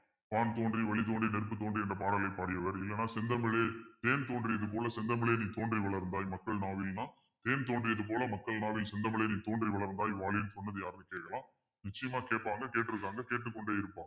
வான் தோன்றி வழி தோன்றி நெருப்பு தோன்றி என்ற பாடலை பாடியவர் இல்லைன்னா செந்தமிழே தேன் தோன்றியது போல செந்தமிழே நீ தோன்றி வளர்ந்தாய் மக்கள் நாவலன்னா தோன்றியது போல மக்கள் நாவில் செந்தமிழே நீ தோன்றி வளர்ந்தாய் சொன்னது யாருன்னு கேட்கலாம் நிச்சயமா கேப்பாங்க கேட்டிருக்காங்க கேட்டுக் கொண்டே இருப்பாங்க